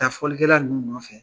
taa fɔlikɛla ninnu nɔfɛ